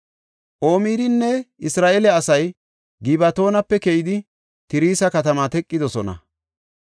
Omirinne Isra7eele asay Gibatoonape keyidi Tirsa katamaa teqidosona.